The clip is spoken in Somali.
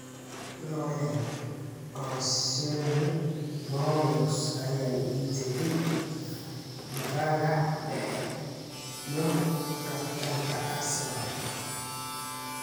Laurent Koscielny: Bordeaux ayaa iibsatay difaaga dhexe iyo kabtanka Arsenal.